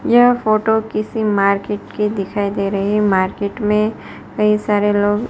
यह फोटो किसी मार्केट की दिखाई दे रहीं हैं मार्केट में कई सारे लोग--